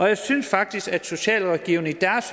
jeg synes faktisk at socialrådgiverne i